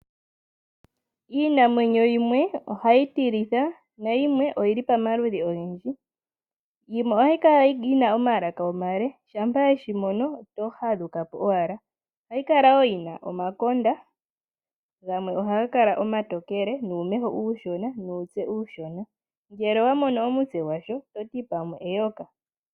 Iinamwenyo yimwe ohayi tilitha nayimwe oyili pamaludhi ogendji. Yimwe ohayikala yina omalaka omale shampa weshimono otohadhukapo owala. Ohayikala woo yina omakonda gamwe ohagakala omatokele numeho uushona, nuutse uushona. Ngele owamono omutse gwasho ototi pwamwe eyoka.